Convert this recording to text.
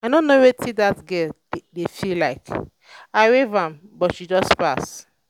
i no know wetin dat girl dey dey feel like. i wave at am but she just pass